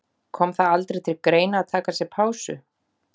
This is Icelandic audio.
Kom það aldrei til greina að taka sér pásu?